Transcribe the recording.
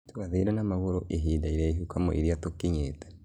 Twathiĩre na magũrũ ihinda iraihũ kwamwĩira tukinyĩte